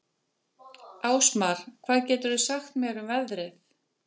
Ásmar, hvað geturðu sagt mér um veðrið?